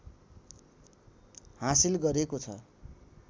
हासिल गरेको छ